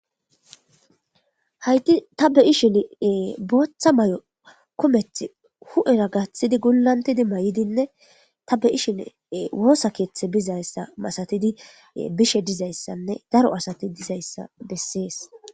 Hayti tabbe ishin booththa may'o kumeth hu'era gaththidi gullantidi may7idinne tabe ishin woosa keeththe bizayssa masatidi bishe dizayssanne daro asati dizayssa bessees.